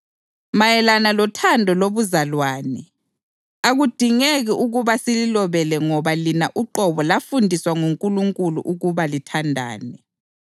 Mayelana lothando lobuzalwane, akudingeki ukuba sililobele ngoba lina uqobo lafundiswa nguNkulunkulu ukuba lithandane.